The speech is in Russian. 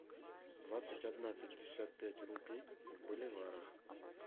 двадцать одна пятьдесят пять рупий в боливарах